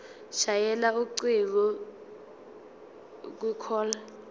shayela ucingo kwicall